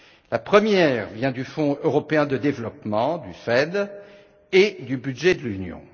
La première vient du Fonds européen de développement et du budget de l'Union.